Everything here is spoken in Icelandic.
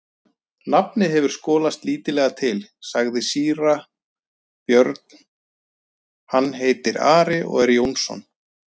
Nafnið hefur skolast lítillega til, sagði síra Björn,-hann heitir Ari og er Jónsson.